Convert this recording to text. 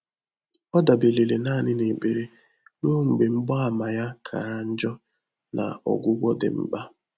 Ọ́ dàbéréle nāànị́ n’ékpèré rùó mgbè mgbààmà yá kàrà njọ́ nà ọ́gwụ́gwọ́ dị́ mkpà.